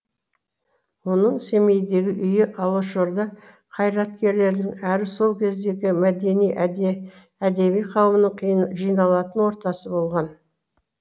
оның семейдегі үйі алашорда қайраткерлерінің әрі сол кездегі мәдени әдеби қауымның жиналатын ортасы болған